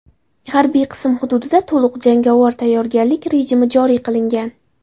Harbiy qism hududida to‘liq jangovar tayyorgarlik rejimi joriy qilingan.